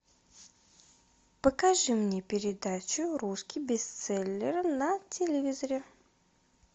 покажи мне передачу русский бестселлер на телевизоре